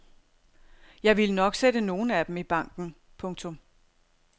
Jeg ville nok sætte nogle af dem i banken. punktum